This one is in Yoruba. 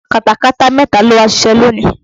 Katakata mẹ́ta ló wá ṣiṣẹ́ lónìí